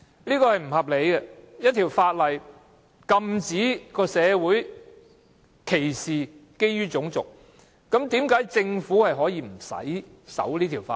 這是不合理的，一項法例禁止社會基於種族作出歧視，但政府竟可無須遵守該項法例。